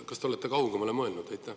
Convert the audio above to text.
Kas te olete kaugemale mõelnud?